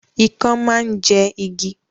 Ikán máa ń jẹ igi